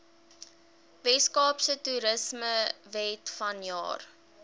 weskaapse toerismewet vanjaar